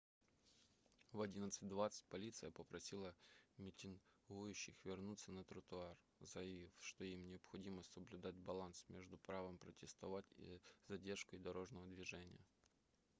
в 11:20 полиция попросила митингующих вернуться на тротуар заявив что им необходимо соблюдать баланс между правом протестовать и задержкой дорожного движения